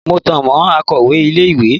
Mo tan mọ́ akọ̀wẹ́ ilé ìwé.